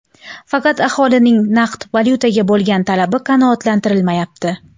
Faqat aholining naqd valyutaga bo‘lgan talabi qanoatlantirilmayapti.